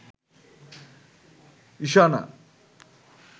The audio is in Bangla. ঈশানা